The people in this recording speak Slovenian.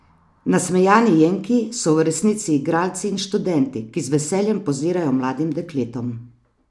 Nasmejani jenkiji so v resnici igralci in študenti, ki z veseljem pozirajo mladim dekletom.